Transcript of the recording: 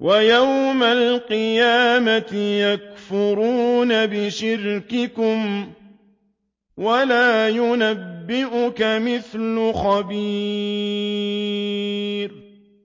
وَيَوْمَ الْقِيَامَةِ يَكْفُرُونَ بِشِرْكِكُمْ ۚ وَلَا يُنَبِّئُكَ مِثْلُ خَبِيرٍ